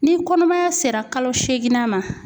Ni kɔnɔmaya sera kalo seginna ma.